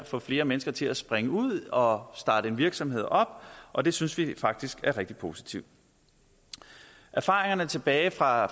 få flere mennesker til at springe ud og starte en virksomhed op og det synes vi faktisk er rigtig positivt erfaringerne tilbage fra